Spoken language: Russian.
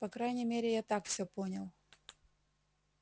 по крайней мере я так всё понял